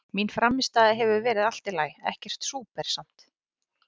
Mín frammistaða hefur verið allt í lagi, ekkert súper samt.